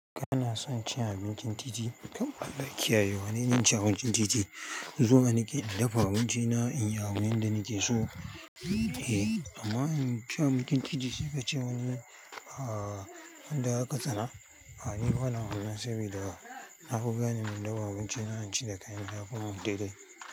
Kanason cin abincin titi? Kam Alllah kiyaye, wane ni inci abincin titi. Zuwa nike in dafa abinci na in yi a wurin da nike so. Eh, amma in ci abincin titi sai kace wani ahhh da aka tsana. Ah ni bana wannan saboda nafi gane in dafa abinci na, na ci da kai na ya fi mun daidai.